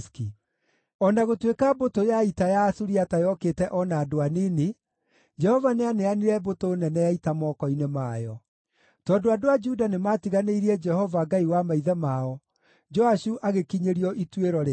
O na gũtuĩka mbũtũ ya ita ya Asuriata yokĩte o na andũ anini, Jehova nĩaneanire mbũtũ nene ya ita moko-inĩ mayo. Tondũ andũ a Juda nĩmatiganĩirie Jehova, Ngai wa maithe mao, Joashu agĩkinyĩrio ituĩro rĩake.